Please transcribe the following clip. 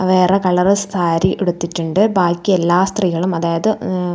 വേറെ കളർ സാരിയുടുത്തിട്ടുണ്ട് ബാക്കിയെല്ലാ സ്ത്രീകളും അതായത് ഉം--